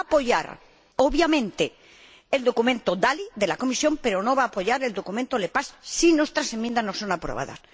Va a apoyar obviamente el documento Dalli de la Comisión, pero no va a apoyar el documento Lepage si nuestras enmiendas no son aprobadas.